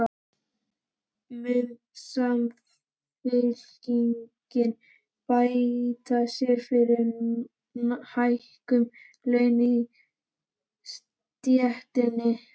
Mun Samfylkingin beita sér fyrir hækkun launa í stéttinni?